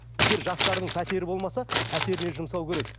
егер жастардың пәтері болмаса пәтеріне жұмсау керек